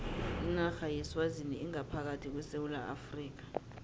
inarha yeswazini ingaphakathi kwesewula afrika